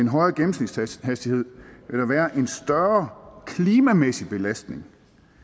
højere gennemsnitshastighed vil der være en større klimamæssig belastning